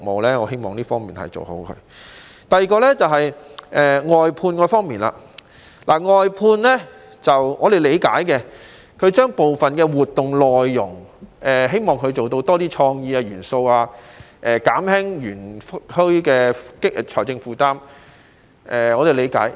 第二點是外判方面，園方將部分活動外判，希望能做到有多些創意元素，減輕園區的財政負擔，我們是理解的。